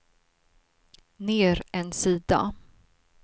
ner en sida